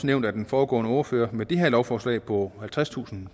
nævnt af den foregående ordfører med det her lovforslag på halvtredstusind